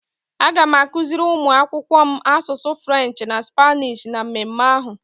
Aga m akuziri ụmụ akwụkwọ m asụsụ French na Spanish na mmemme ahụ.